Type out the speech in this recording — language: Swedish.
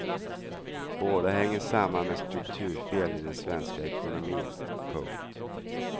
Båda hänger samman med strukturfel i den svenska ekonomin. punkt